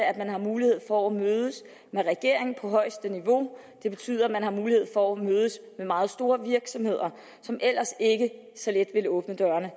at man har mulighed for at mødes med regeringer på højeste niveau og det betyder at man har mulighed for at mødes med meget store virksomheder som ellers ikke så let ville åbne dørene